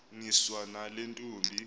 niswa nale ntombi